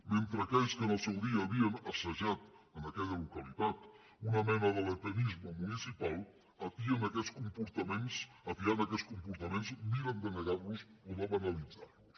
mentre aquells que en el seu dia havien assajat en aquella localitat una mena de lepenisme municipal atiant aquests comportaments miren de negar los o de banalitzar los